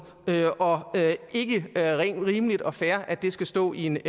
og det er ikke rimeligt og fair at det skal stå i en